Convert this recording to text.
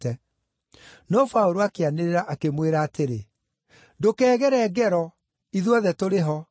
No Paũlũ akĩanĩrĩra, akĩmwĩra atĩrĩ, “Ndũkeegere ngero! Ithuothe tũrĩ ho!”